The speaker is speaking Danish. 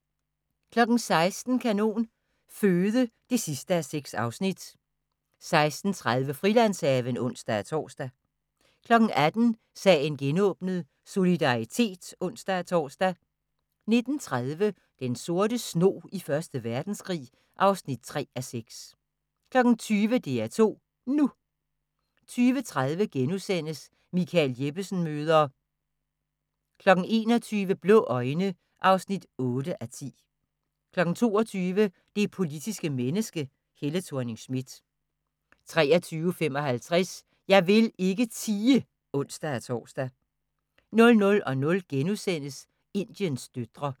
16:00: Kanon Føde (6:6) 16:30: Frilandshaven (ons-tor) 18:00: Sagen genåbnet: Solidaritet (ons-tor) 19:30: Den sorte snog i Første Verdenskrig (3:6) 20:00: DR2 NU 20:30: Michael Jeppesen møder ...* 21:00: Blå øjne (8:10) 22:00: Det politiske menneske – Helle Thorning-Schmidt 23:55: Jeg vil ikke tie! (ons-tor) 00:00: Indiens døtre *